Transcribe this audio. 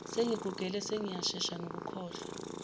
sengizigugele sengiyashesha nokukhohlwa